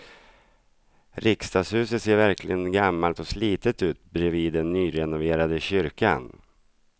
Riksdagshuset ser verkligen gammalt och slitet ut bredvid den nyrenoverade kyrkan.